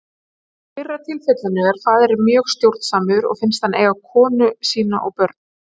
Í fyrra tilfellinu er faðirinn mjög stjórnsamur og finnst hann eiga konu sína og börn.